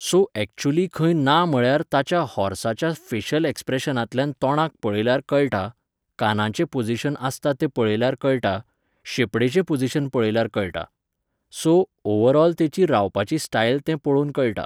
So actually खंय ना म्हळ्यार ताच्या हाॅर्साच्या फेशल एक्प्रेशनांतल्यान तोंडाक पळयल्यार कळटा, कानाचें पोजिशन आसता तें पळयल्यार कळटा, शेपडेचें पोजिशन पळयल्यार कळटा. सो, ओवराॅल तेची रावपाची स्टायल तें पळोवन कळटा